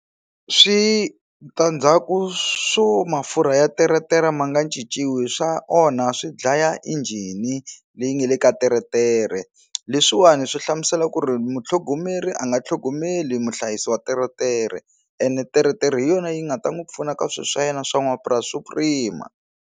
Switandzhaku swo mafurha ya teretere ma nga cinciwi swa onha swi dlaya injhini leyi nga le ka teretere leswiwani swi hlamusela ku ri mutlhongomeri a nga tlhogomeli muhlayisi wa teretere ene teretere hi yona yi nga ta n'wi pfuna ka swilo swa yena swa mapurasi swa ku rima.